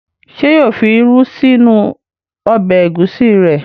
Ṣé yóò fi irú sí inú ọbẹ̀ ẹ̀gúsí rẹ̀?